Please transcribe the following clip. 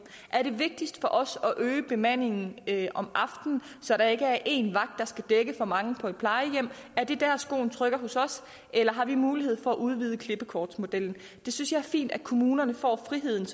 er det vigtigste for os at øge bemandningen om aftenen så der ikke er én vagt der skal dække for mange på et plejehjem er det der skoen trykker hos os eller har vi mulighed for at udvide klippekortsmodellen det synes jeg er fint at kommunerne får frihed